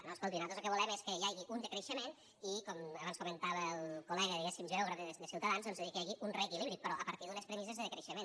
no escolti nosaltres lo que volem és que hi hagi un decreixement i com abans comentava el col·lega diguéssim geògraf de ciutadans doncs de dir que hi hagi un reequilibri però a partir d’unes premisses de decreixement